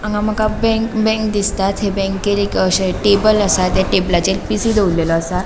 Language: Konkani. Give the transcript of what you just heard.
हांगा मका बे बँक दिसता थंय बैंकेन एक अशे टेबल असा त्या टेबलाचेर पि.सी दवोरलोलो असा.